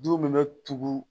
Du min bɛ tugu